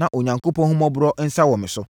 na Onyankopɔn ahummɔborɔ nsa no wɔ me so.